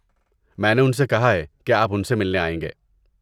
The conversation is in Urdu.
میں نے ان سے کہا ہے کہ آپ ان سے ملنے آئیں گے۔